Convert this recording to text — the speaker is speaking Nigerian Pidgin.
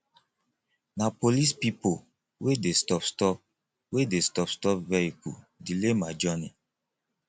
na police pipo wey dey stopstop wey dey stopstop vehicle delay my journey